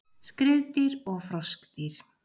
Skriðdýr og froskdýr